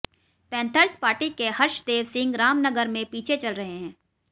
panthers party के हर्षदेव सिंह रामनगर में पीछे चल रहे हैं